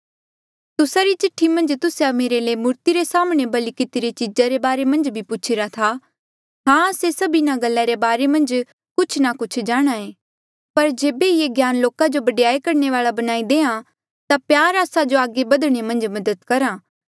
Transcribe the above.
तुस्सा री चिठ्ठी मन्झ तुस्से मेरे ले मूर्ति रे साम्हणें बलि कितिरी चीजा रे बारे मन्झ भी पूछीरा था हां आस्से सब इन्हा गल्ला रे बारे मन्झ कुछ ना कुछ जाणांहे पर जेबे ये ही ज्ञान लोका जो बडयाई करणे वाल्आ बणाई देहां ता प्यार आस्सा जो आगे बधणे मन्झ मदद करहा